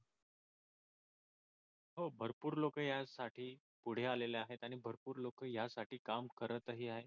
हो भरपूर लोक यासाठी पुढे आलेले आहेत आणि भरपूर लोक यासाठी काम करतही आहेत.